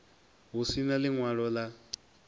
hu si na ḽiṅwalo ḽa